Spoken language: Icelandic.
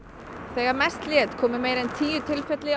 þegar mest lét komu meira en tíu tilfelli